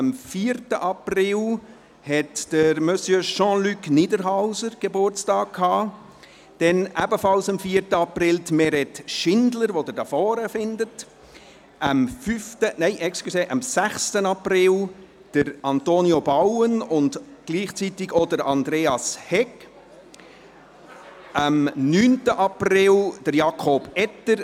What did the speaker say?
Am 4. April hatte Monsieur Jean-Luc Niederhauser Geburtstag, ebenfalls am 4. April Meret Schindler, die Sie hier vorne finden, am 6. April Antonio Bauen und gleichzeitig auch Andreas Hegg, am 9. April Jakob Etter;